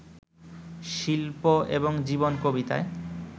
শিল্প এবং জীবন কবিতায়